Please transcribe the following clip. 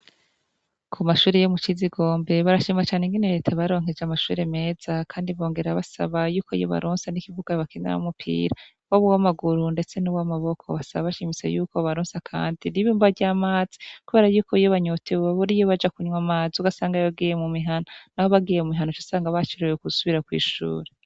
Ku mashure yo c'Ikigombe barashima cane ukuntu Reta yabaronkeje amashure meza Kandi bongera basaba ko yobaronsa ikibuga bakiniramwo umupira wob'uwamaguru ndetse uw'amaboko, basaba bashimitse bobaronsa kandi ibomba ry'amazi kubera yuko iyo banyotewe babura iyo baja kunwa amazi, ugasanga bagiye mu mihana ucusanga bacerewe gusbira kw'ishure.